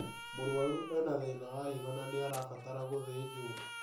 Mũrwaru ena thĩna wa higo na nĩarabatara gũthĩjwo